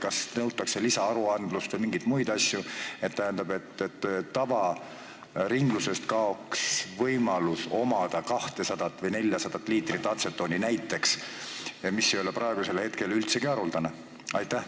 Kas nõutakse lisaaruandlust või mingeid muid asju, et tavaringlusest kaoks võimalus omada näiteks 200 või 400 liitrit atsetooni, mis ei ole praegu üldsegi haruldane?